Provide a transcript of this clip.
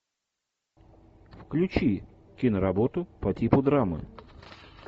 включи киноработу по типу драмы